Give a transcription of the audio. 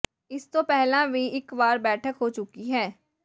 ਇਸ ਤੋਂ ਪਹਿਲਾਂ ਵੀ ਇਕ ਵਾਰ ਬੈਠਕ ਹੋ ਚੁੱਕੀ ਹੈ